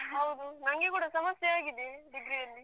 ಹೌದು ನಂಗೆ ಕೂಡ ಸಮಸ್ಯೆ ಆಗಿದೆ. degree ಯಲ್ಲಿ.